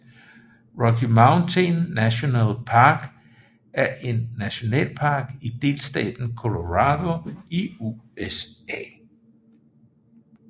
Rocky Mountain National Park er en nationalpark i delstaten Colorado i USA